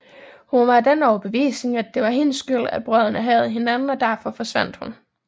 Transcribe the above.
Hun var af den overbevisning at det var hendes skyld at brødrene hadede hinanden og derfor forsvandt hun